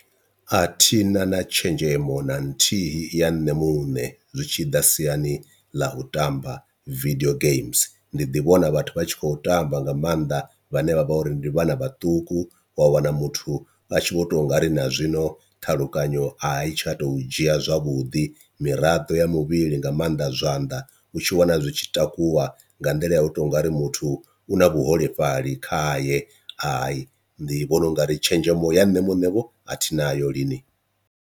A thina na tshenzhemo na nthihi ya nṋe muṋe zwi tshida siani ḽa u tamba video games, ndi ḓi vhona vhathu vha tshi khou tamba nga maanḓa vhane vha vha uri ndi vhana vhaṱuku wa wana muthu a tshi vho tou ungari na zwino ṱhalukanyo i tsha to dzhia zwavhuḓi, miraḓo ya muvhili nga maanḓa zwanḓa u tshi wana zwi tshi takuwa nga nḓila ya u to u nga ri muthu u na vhuholefhali kha ye i ndi vhona ungari tshenzhemo ya nṋe muṋe vho a thina ayo lini.